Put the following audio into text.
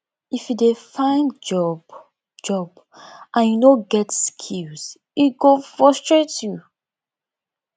if you dey find job job and you no get skills e go frustrate you